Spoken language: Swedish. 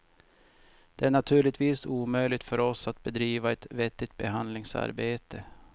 Det är naturligtvis omöjligt för oss att bedriva ett vettigt behandlingsarbete.